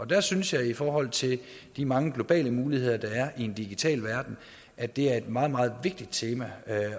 der synes jeg i forhold til de mange globale muligheder der er i en digital verden at det er et meget meget vigtigt tema